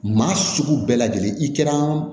Maa sugu bɛɛ lajɛlen i kɛra